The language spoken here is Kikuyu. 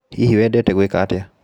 Hihi wendete gwĩka atĩa?